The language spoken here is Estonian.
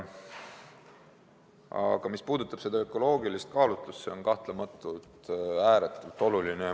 Aga mis puudutab ökoloogilist kaalutlust, siis see on kahtlematult ääretult oluline.